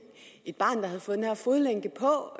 et barn havde fået den her fodlænke på og